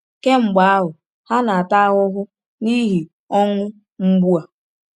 Kemgbe ahụ, ha na-ata ahụhụ n’ihi ọnwụ mgbu a.